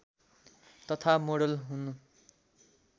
तथा मोडेल हुन्